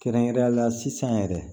Kɛrɛnkɛrɛnnenyala sisan yɛrɛ